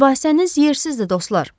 Mübahisəniz yersizdir, dostlar.